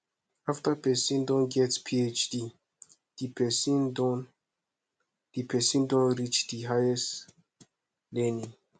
after person don get phd di person don di person don reach di higest learning